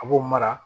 A b'o mara